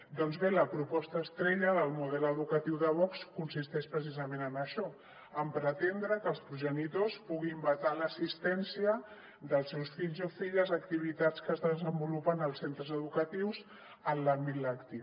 doncs bé la proposta estrella del model educatiu de vox consisteix preci·sament en això en pretendre que els progenitors puguin vetar l’assistència dels seus fills o filles a activitats que es desenvolupen als centres educatius en l’àmbit lectiu